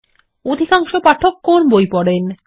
অধিকাংশ পাঠক কোন বই পড়েন160